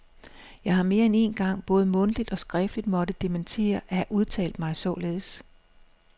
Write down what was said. Jeg har mere end én gang både mundtligt og skriftligt måtte dementere at have udtalt mig således.